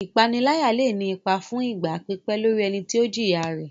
Ìpaniláyà lè ní ipa fún ìgbà pípẹ́ lórí ẹni tí ó jìya rẹ̀.